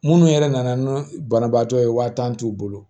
Minnu yɛrɛ nana n'o banabaatɔ ye waa tan t'u bolo